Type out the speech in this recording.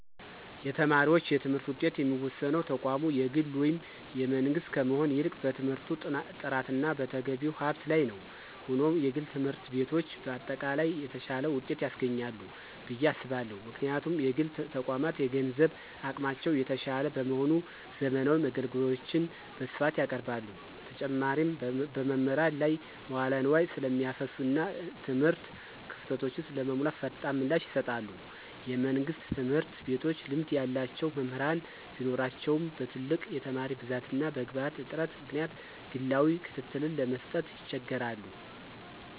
የተማሪዎች የትምህርት ውጤት የሚወሰነው ተቋሙ የግል ወይም የመንግሥት ከመሆን ይልቅ በትምህርቱ ጥራትና በተገቢው ሀብት ላይ ነው። ሆኖም፣ የግል ትምህርት ቤቶች በአጠቃላይ የተሻለ ውጤት ያስገኛሉ ብዬ አስባለሁ። ምክንያቱም: የግል ተቋማት የገንዘብ አቅማቸው የተሻለ በመሆኑ፣ ዘመናዊ መገልገያዎችን በስፋት ያቀርባሉ። በተጨማሪም፣ በመምህራን ላይ መዋለ ንዋይ ስለሚያፈሱና እና የትምህርት ክፍተቶችን ለመሙላት ፈጣን ምላሽ ይሰጣሉ። የመንግሥት ትምህርት ቤቶች ልምድ ያላቸው መምህራን ቢኖራቸውም፣ በትልቅ የተማሪ ብዛትና በግብዓት እጥረት ምክንያት ግላዊ ክትትልን ለመስጠት ይቸገራሉ።